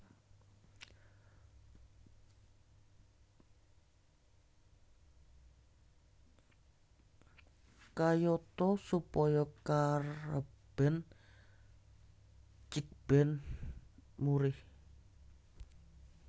Kayata supaya karebèn cikbèn murih